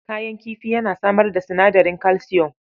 Ƙayan kifi yana samar da sinadarin kalsiyom.